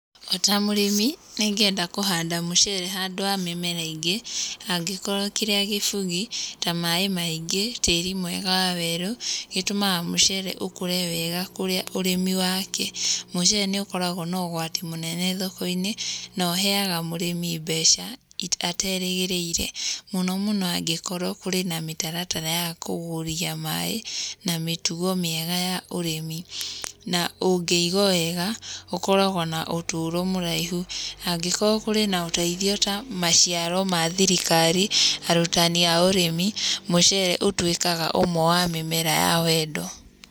O ta mũrĩmi nĩ ingĩenda kũhanda mũcere handũ ha mĩmera ingĩ angĩkorwo kĩrĩa kĩbugi ta maĩ maingĩ, tĩĩri mwega wa werũ, gĩtũmaga mũcere ũkũre wega kũrĩa ũrĩmi wake. Mũcere nĩ ũkoragwo na ũgwati mũnene thoko-inĩ, na ũheaga mũrĩmi mbeca aterĩgĩrĩire, mũno mũno angĩkorwo kũrĩ na mĩtaratara ya kũgũria maĩ na mĩtugo mĩega ya ũrĩmi. Na ũngĩiguo wega ũkũrogwo na ũtũũro mũraihu, angĩkorwo kũrĩ na ũteithio ta maciaro ma thirikari, arutani a urĩmi, mũcere ũtuĩkaga ũmwe wa mĩmera ya wendo.